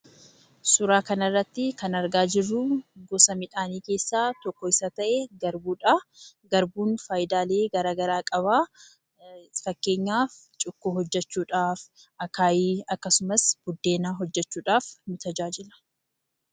Suura kana irratti kan argaa jirru gosa midhaanii keessaa Isa tokko ta'e garbuudha. Garbuun faayidaalee gara garaa qaba. Fakkeenyaaf cuukkoo hojjechuuf, akaayii fi buddeena hojjechuudhaaf nu tajaajila.